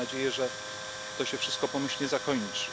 Mamy nadzieję, że to się wszystko pomyślnie